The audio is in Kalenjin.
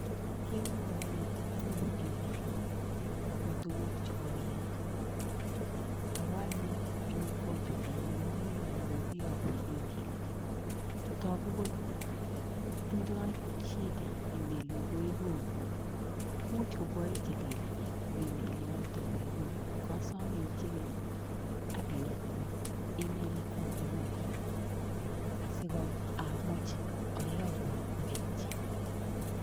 Kemwoiwo ile mainyoru Email akopo tuguk chekoial ako anyun eng compyutainyun akere ale kokiyokun Email[sc]. Togu kole tindoi shida[sc] [sc]Email nekoikonu, much ko koichilil kiy eng Email[sc] inoto koikonu. Kasome icheken akiyokwo Email account neng'ung kora asiamuch ayokun aketyi.